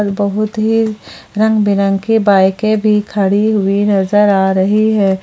बहुत ही रंग बिरगे बाइके भी खड़ी हुई नजर आ रही है।